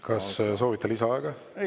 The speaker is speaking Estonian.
Kas soovite lisaaega?